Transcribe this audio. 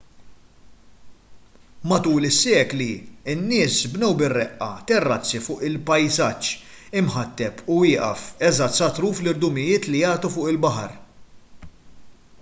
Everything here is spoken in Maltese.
matul is-sekli in-nies bnew bir-reqqa terrazzi fuq il-pajsaġġ imħatteb u wieqaf eżatt sa truf l-irdumijiet li jagħtu fuq il-baħar